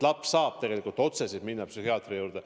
Laps saab siis otse minna psühhiaatri juurde.